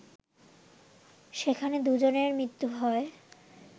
সেখানে দুজনের মৃত্যু হয়